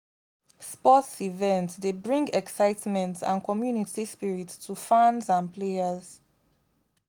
sports events dey bring excitement and community spirit to fans and players.